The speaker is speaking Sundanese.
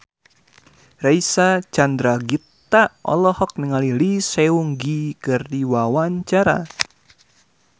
Reysa Chandragitta olohok ningali Lee Seung Gi keur diwawancara